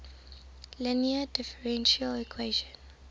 linear differential equation